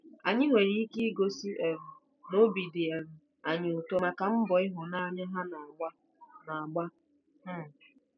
Anyị nwere ike igosi um na obi dị um anyị ụtọ maka mbọ ịhụnanya ha na-agba. na-agba. um